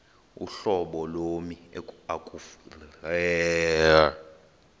uhlobo lommi ekufuneka